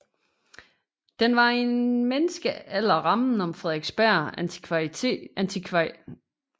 Den var i en menneskealder rammen om Frederiksberg Antikvariat med den ekscentriske indehaver